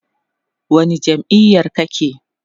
wani jam'iyar kake?